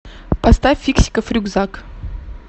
поставь фиксиков рюкзак